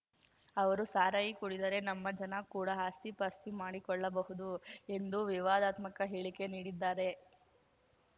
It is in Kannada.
ಅವರು ಸಾರಾಯಿ ಕುಡಿದರೆ ನಮ್ಮ ಜನ ಕೂಡ ಆಸ್ತಿ ಪಾಸ್ತಿ ಮಾಡಿಕೊಳ್ಳಬಹುದು ಎಂದು ವಿವಾದಾತ್ಮಕ ಹೇಳಿಕೆ ನೀಡಿದ್ದಾರೆ